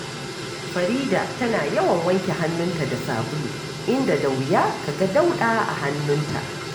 Farida tana yawan wanke hannunta da sabulu, inda da wuya ka ga dauɗa a hannunta